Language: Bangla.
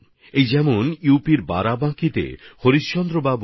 এরকমই একজন হলেন ইউ পির বারাবাঁকির হরিশ্চন্দ্রজি